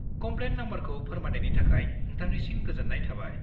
-Complain नाम्बारखौ फोरमायनायनि थाखाय नोंथांनिसिम गोजोन्नाय थाबाय।